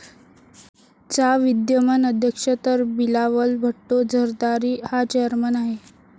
चा विद्यमान अध्यक्ष तर बिलावल भुट्टो झरदारी हा चेयरमन आहे.